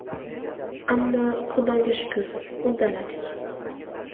Ammo Xudoga shukur, uddaladik.